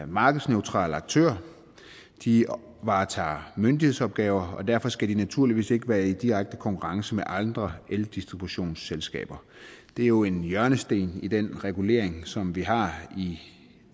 markedsneutral aktør de varetager myndighedsopgaver og derfor skal de naturligvis ikke være i direkte konkurrence med andre eldistributionsselskaber det er jo en hjørnesten i den regulering som vi har i